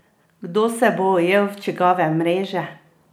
Kdo se bo ujel v čigave mreže?